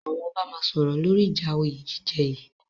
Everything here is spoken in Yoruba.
Àwọn ọba máa sọ̀rọ̀ lóri ìja òyé jíjẹ yìí.